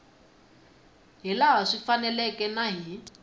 hilaha swi faneleke na hi